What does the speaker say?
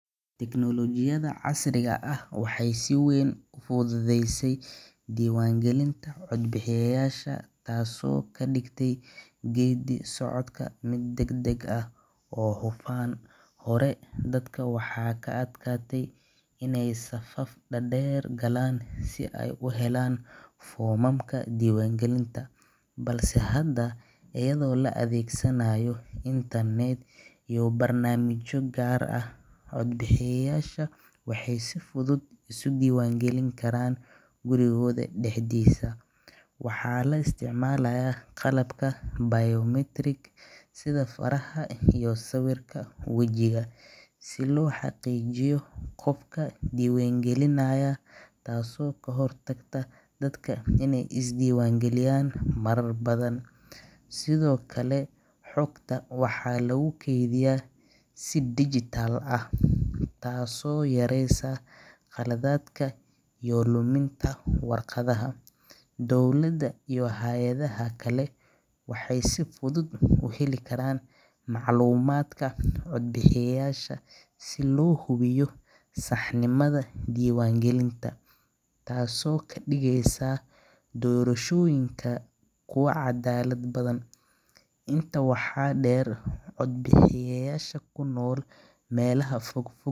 Teknolojiyada waxeey fududese dibaan galinta cod bixiyasha, hore waxaa ka adkaatay in aay safaf deer galaan, lakin hada cod bixiyasha waxeey si fudud isku dibaan galin karaan guryaha dexdooda, sido kale waxaa lagu keediya si digitaal ah, dowlada waxeey si fudud uheli karaan, taas oo kadigeysa kuwa cadaalad badan, intaas waxa deer kuwa dagan meela fogfog.